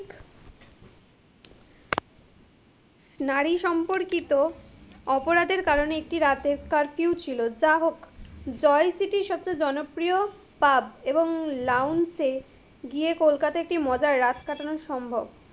নারী সম্পর্কিত, অপরাধের কারণে একটি রাতে curfue ছিল, যাহোক, joy city সবচেয়ে জনপ্রিয় pub, এবং lounge গিয়ে কলকাতায় একটি মজার রাত কাটানো সম্ভব,